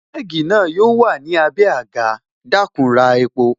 Kẹ́gì na yo wà ní abé agà, dakun ra epo